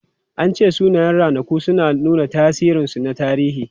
An ce sunayen ranaku suna nuna tasirinsu na tarihi.